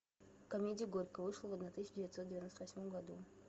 комедия горько вышла в одна тысяча девятьсот девяносто восьмом году